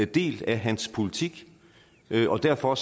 del af hans politik og derfor